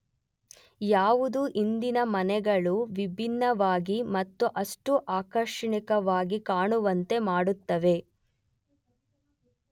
ಯಾವುದು ಇಂದಿನ ಮನೆಗಳು ವಿಭಿನ್ನವಾಗಿ ಮತ್ತು ಅಷ್ಟು ಆಕರ್ಷಣೀಯವಾಗಿ ಕಾಣುವಂತೆ ಮಾಡುತ್ತವೆ?